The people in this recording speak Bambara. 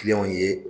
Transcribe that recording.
Kiliyanw ye